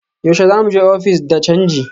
Yaushe za mu je ofis de canji?